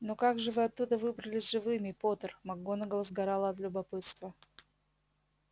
но как же вы оттуда выбрались живыми поттер макгонагалл сгорала от любопытства